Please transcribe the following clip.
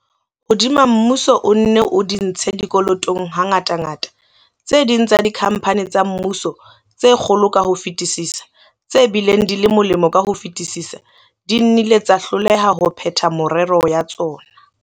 Hodima hore mmuso o nne o di ntshe dikolotong hangatangata, tse ding tsa dikhampani tsa mmuso, tse kgolo ka ho fetisisa, tse bileng di le molemo ka ho fetisisa, di nnile tsa hloleha ho phetha merero ya tsona.